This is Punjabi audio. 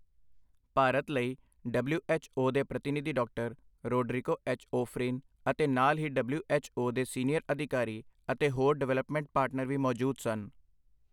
ਭਾਰਤ ਲਈ ਡਬਲਿਊ ਐੱਚ ਓ ਦੇ ਪ੍ਰਤੀਨਿਧੀ ਡਾਕਟਰ ਰੋਡਰਿਕੋ ਐੱਚ. ਓਫ਼ਰੀਨ ਅਤੇ ਨਾਲ ਹੀ ਡਬਲਿਊ ਐੱਚ ਓ ਦੇ ਸੀਨੀਅਰ ਅਧਿਕਾਰੀ ਅਤੇ ਹੋਰ ਡਿਵੈਲਪਮੈਂਟ ਪਾਰਟਨਰ ਵੀ ਮੌਜੂਦ ਸਨ।